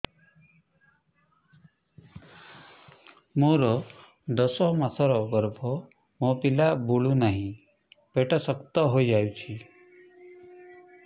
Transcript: ମୋର ଦଶ ମାସର ଗର୍ଭ ମୋ ପିଲା ବୁଲୁ ନାହିଁ ପେଟ ଶକ୍ତ ହେଇଯାଉଛି